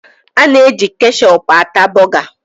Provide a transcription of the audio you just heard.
A na-eji kechọpụ ata bọga.